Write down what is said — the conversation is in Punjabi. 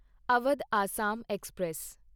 ਅਵਧ ਅਸਾਮ ਐਕਸਪ੍ਰੈਸ